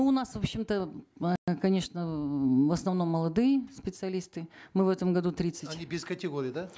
ну у нас в общем то э конечно в основном молодые специалисты мы в этом году тридцать они без категории да